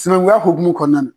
Sinankunya hokumu kɔɔna na